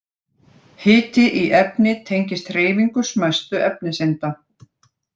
Hiti í efni tengist hreyfingu smæstu efniseinda.